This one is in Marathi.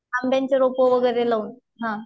आंब्याची रोप वगैरे लावून. ह.